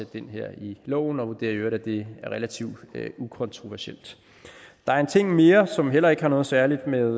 det ind her i loven og vurderer i øvrigt at det er relativt ukontroversielt der er en ting mere som heller ikke har noget særligt med